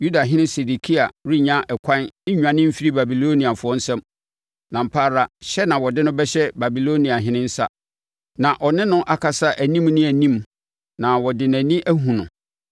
Yudahene Sedekia renya ɛkwan nnwane mfiri Babiloniafoɔ nsam, na ampa ara hyɛ na wɔde no bɛhyɛ Babiloniahene nsa, na ɔne no akasa anim ne anim na ɔde nʼani ahunu no.